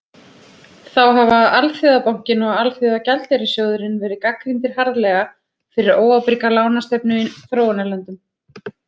Þá hafa Alþjóðabankinn og Alþjóðagjaldeyrissjóðurinn verið gagnrýndir harðlega fyrir óábyrga lánastefnu í þróunarlöndum.